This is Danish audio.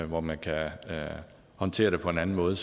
hvor man kan håndtere det på en anden måde